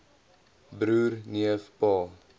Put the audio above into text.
broer neef pa